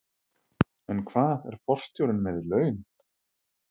En hvað er forstjórinn með í laun?